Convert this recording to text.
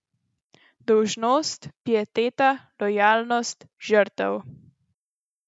Dolžnost, pieteta, lojalnost, žrtev.